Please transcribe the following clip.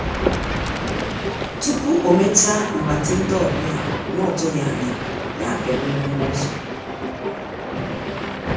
tupu omecha mgbatị ndị ọbịa na-otughi anya ya piri mgbirigba ụ́zọ̀.